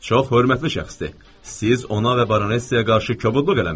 Çox hörmətli şəxsdir, siz ona və Baronesaya qarşı kobudluq eləmisiz.